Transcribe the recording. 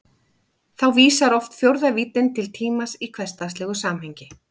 Þá vísar oft fjórða víddin til tímans í hversdagslegu samhengi.